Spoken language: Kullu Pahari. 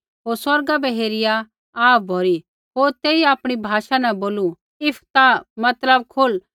होर स्वर्गा बै हेरिया आह भौरी होर तेई आपणी भाषा न बोलू इफ्फतह मतलब खुल